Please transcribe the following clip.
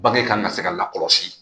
Bange kan ka se ka lakɔlɔsi